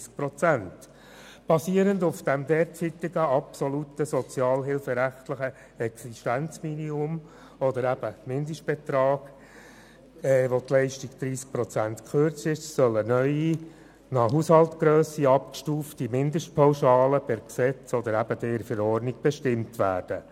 Basierend auf dem derzeitigen absoluten sozialhilferechtlichen Existenzminimum oder dem Mindestbetrag mit gekürzter Leistung um 30 Prozent, soll eine neue, nach Haushaltgrösse abgestufte Mindestpauschale per Gesetz oder Verordnung bestimmt werden.